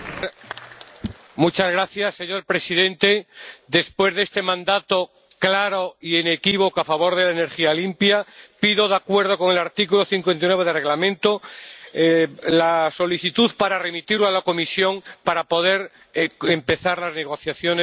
Señor presidente, después de este mandato claro e inequívoco a favor de la energía limpia, propongo, de acuerdo con el artículo 59 del Reglamento interno, la devolución del asunto a la comisión para poder empezar las negociaciones con el resto de las instituciones.